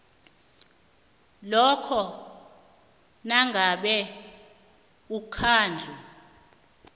lokha nangabe umkhandlu